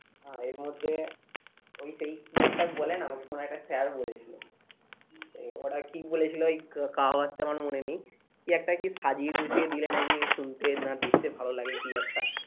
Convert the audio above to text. আহ এর মধ্যে ওই সেই কি একটা বলে না আমাকে কোনো একটা sir বলেছিলো, ওরা কি বলেছিলো ওই কাহাওয়াত টা আমার মনে নেই কি একটা কি সাজিয়ে গুছিয়ে দিলে নাকি শুনতে না দেখতে ভালো লাগে কি একটা